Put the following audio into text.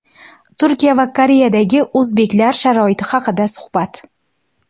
Turkiya va Koreyadagi o‘zbeklar sharoiti haqida suhbat.